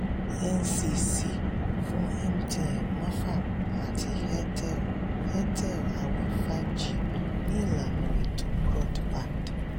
ncc fún mtn mafab àti airtel airtel àwẹ five g ní ìlànà ètò broadband